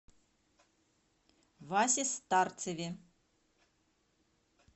васе старцеве